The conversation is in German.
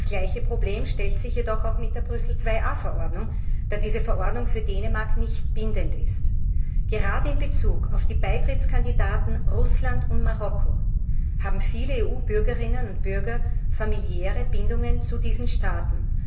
Das gleiche Problem stellt sich jedoch auch mit der Brüssel IIa Verordnung, da diese Verordnung für Dänemark nicht bindend ist. Gerade in Bezug auf die Beitrittskandidaten Russland und Marokko haben viele EU Bürgerinnen und Bürger familiäre Bindungen zu diesen Staaten.